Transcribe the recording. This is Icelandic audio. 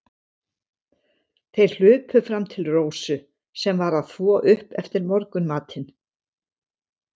Þeir hlupu fram til Rósu, sem var að þvo upp eftir morgunmatinn.